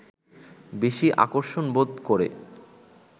বেশি আকর্ষণবোধ করে